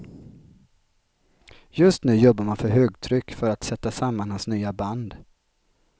Just nu jobbar man för högtryck för att sätta samman hans nya band.